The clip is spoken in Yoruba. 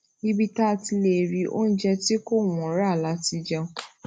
ibi tá a ti lè rí oúnjẹ tí kò wọn rà la ti jẹun